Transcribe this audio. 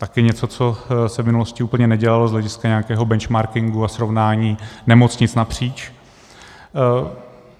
Také něco, co se v minulosti úplně nedělalo z hlediska nějakého benchmarkingu a srovnání nemocnic napříč.